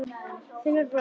Finnur brosti.